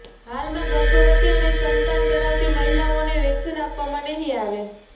હાલમાં ગર્ભવતી અને સ્તનપાન કરાવતી મહિલાઓને વેકસીન આપવામાં નહીં આવે